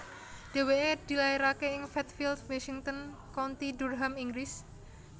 Dhèwèké dilairaké ing Fatfield Washington County Durham Inggris